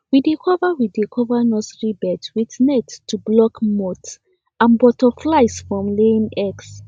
we dey cover we dey cover nursery beds with nets to block moths and butterflies from laying eggs